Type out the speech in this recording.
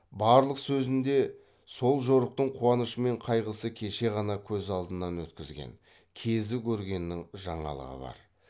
барлық сөзіңде сол жорықтың куанышы мен кайғысы кеше ғана көз алдынан өткізген кезі көргеннің жаңалығы бар